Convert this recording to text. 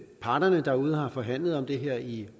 parterne derude har forhandlet om det her i